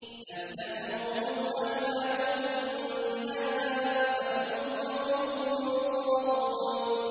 أَمْ تَأْمُرُهُمْ أَحْلَامُهُم بِهَٰذَا ۚ أَمْ هُمْ قَوْمٌ طَاغُونَ